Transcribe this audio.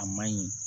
A man ɲi